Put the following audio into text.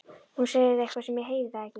Hún segir eitthvað en ég heyri það ekki.